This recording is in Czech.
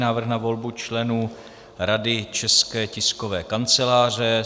Návrh na volbu členů Rady České tiskové kanceláře